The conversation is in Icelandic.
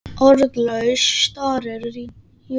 Orðlaus starir Júlía á hana.